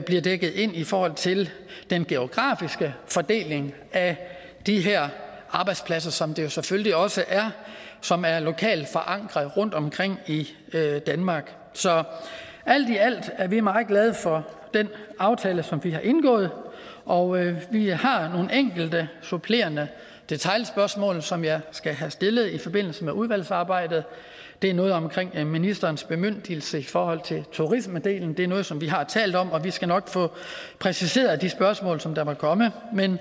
bliver dækket ind i forhold til den geografiske fordeling af de her arbejdspladser som det jo selvfølgelig også er som er lokalt forankret rundtomkring i danmark så alt i alt er vi meget glade for den aftale som vi har indgået og vi har nogle enkelte supplerende detailspørgsmål som jeg skal have stillet i forbindelse med udvalgsarbejdet det er noget omkring ministerens bemyndigelse i forhold til turismedelen det er noget som vi har talt om og vi skal nok få præciseret de spørgsmål som der måtte komme men